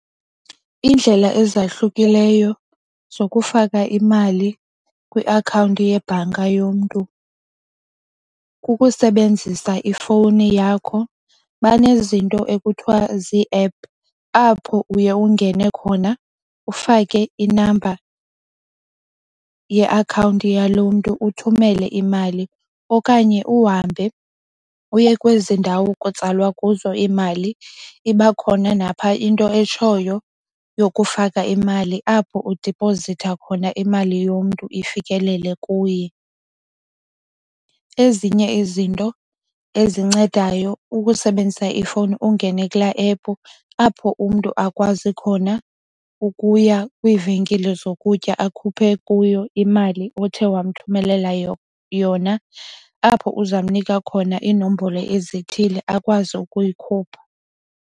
Iindlela ezahlukileyo zokufaka imali kwiakhawunti yebhanka yomntu kukusebenzisa ifowuni yakho, banezinto ekuthiwa ziiephu apho uye ungene khona ufake i-number yeakhawunti yaloo mntu uthumele imali. Okanye uhambe uye kwezi ndawo kutsalwa kuzo imali, iba khona napha into etshoyo yokufaka imali apho udiphozitha khona imali yomntu ifikelele kuye. Ezinye izinto ezincedayo kukusebenzisa ifowuni ungene kula ephu apho umntu akwazi khona ukuya kwiivenkile zokutya akhuphe kuyo imali othe wamthumelela yona. Apho uza kumnika khona inombolo ezithile akwazi ukuyikhupha.